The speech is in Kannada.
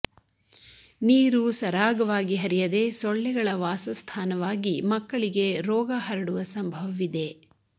ನೀರು ಸರಾಗವಾಗಿ ಹರಿಯದೆ ಸೊಳ್ಳೆಗಳ ವಾಸಸ್ಥಾನವಾಗಿ ಮಕ್ಕಳಿಗೆ ರೋಗ ಹರಡುವ ಸಂಭವವಿದೆ